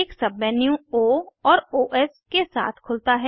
एक सबमेन्यू ओ और ओएस के साथ खुलता है